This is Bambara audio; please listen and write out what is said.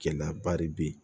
Gɛlɛyaba de bɛ yen